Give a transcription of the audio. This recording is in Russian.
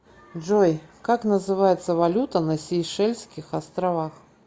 джой как называется валюта на сейшельских островах